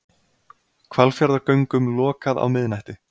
Hvalfjarðargöngum lokað á miðnætti